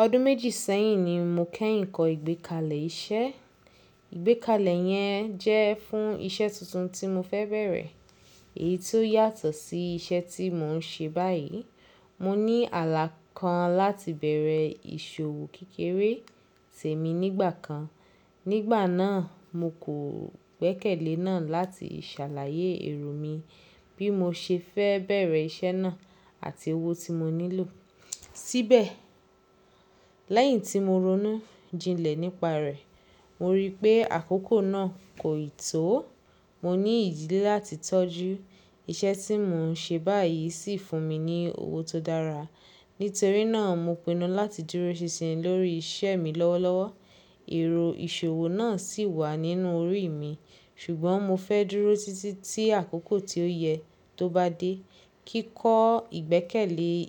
Ọdún méjì sẹ́yìn ni mo kẹ́yìn kọ ìgbékalẹ̀ iṣẹ́. Ìgbékalẹ̀ yẹn jẹ́ fún iṣẹ́ tuntun tí mo fẹ́ bẹ̀rẹ̀, èyí tó yàtọ̀ sí iṣẹ́ tí mò ń ṣe báyìí. Mo ní àlá kan láti bẹ̀rẹ̀ ìṣòwò kékeré sèmi nígbà kan. Nígbà náà, mo kò gbẹ́kẹ̀lé náà láti ìṣàlàyé èrò mi bí mo ṣe fẹ́ bẹ̀rẹ̀ iṣẹ́ náà àti owó tí mo nílò. Síbẹ̀, lẹ́yìn tí mo ronú jinlẹ̀ nípa rẹ̀, mo rí pé àkókò náà kò ì tó. Mo ní ìdìlẹ́ láti tọ́jú. Iṣẹ́ tí mò ń ṣe báyìí sì fún mi ní owó tó dára. Nítorí náà, mo pinnu láti dúró ṣinṣin lórí iṣẹ́ mi lọ́wọ́lọ́wọ́. Ẹ̀rọ ìṣòwò náà sì wà nínú orí mi, ṣùgbọ́n mo fẹ́ dúró títí tí àkókò tí ó yẹ tó bá dé. Kíkọ́ ìgbékalẹ̀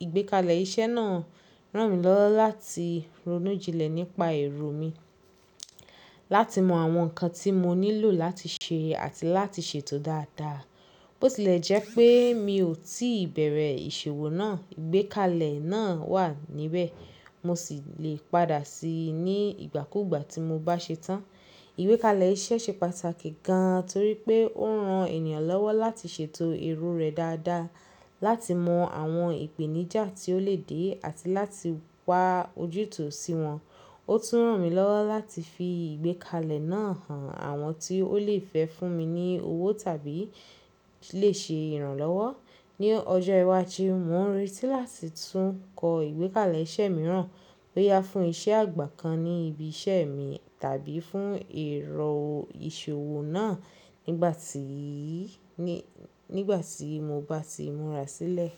iṣẹ́ náà ràn mí lọ́wọ́ láti ronú jinlẹ̀ nípa èrò mi, láti mọ àwọn nǹkan tí mo nílò láti ṣe àti láti ṣètò dáadáa. Bó tilẹ̀ jẹ́ pé mi ò tíì bẹ̀rẹ̀ ìṣòwò náà, ìgbékalẹ̀ náà wà níbẹ̀, mo sì lè padà síi ní ìgbàkúgbà tí mo bá ṣe tán. Ìgbékalẹ̀ iṣẹ́ ṣe pàtàkì gan torí pé ó ran ènìyàn lọ́wọ́ láti ṣètò èrò rẹ̀ dáadáa, láti mọ àwọn ìpèníjà tí ó lè dé àti láti wá ojútùú sí wọn. Ó tún ràn mí lọ́wọ́ láti fi ìgbékalẹ̀ náà hàn àwọn tí ó lè fẹ́ fún mi ní owó tàbí lè ṣe ìrànlọ́wọ́. Ni ọjọ́ iwájú, mò ń retí láti tún kọ ìgbékalẹ̀ iṣẹ́ mìíràn bóyá fún iṣẹ́ àgbà kan ní ibi iṣẹ́ mi tàbí fún ẹ̀rọ ìṣòwò náà nígbà tí mo bá ti múra sílẹ̀.